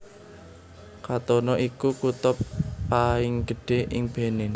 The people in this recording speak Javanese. Cotonou iku kutha paing gedhé ing Benin